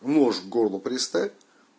нож к горлу приставь